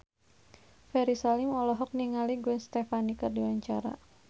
Ferry Salim olohok ningali Gwen Stefani keur diwawancara